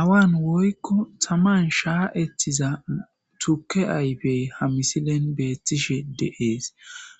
awan woykko taman shaa'etiza tuke ayfey ha misilen beettishe de'ees